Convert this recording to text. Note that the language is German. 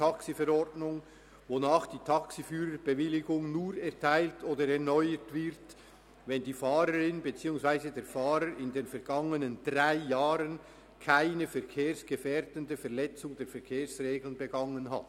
TaxiV, wonach die Taxiführerbewilligung nur erteilt oder erneuert wird, wenn die Fahrerin beziehungsweise der Fahrer in den vergangenen drei Jahren keine verkehrsgefährdende Verletzung der Verkehrsregeln begangen hat.